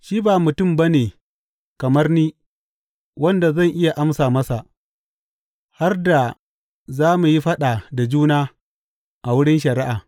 Shi ba mutum ba ne kamar ni wanda zan iya amsa masa, har da za mu yi faɗa da juna a wurin shari’a.